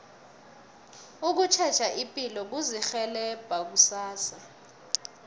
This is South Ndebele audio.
ukutjheja ipilo kuzirhelebha kusasa